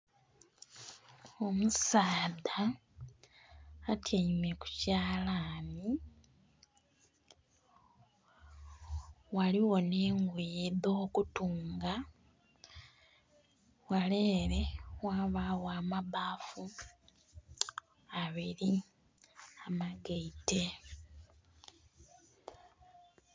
Omusaadha atyaime kukyalani ghaligho n'engoye edhokutunga ghale ere ghabagho amabbafu abiri amagaite.